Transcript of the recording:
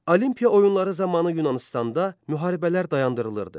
Olimpiya oyunları zamanı Yunanıstanda müharibələr dayandırılırdı.